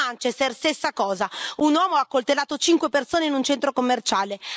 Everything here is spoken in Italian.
Anche a Manchester, stessa cosa un uomo ha accoltellato cinque persone in un centro commerciale.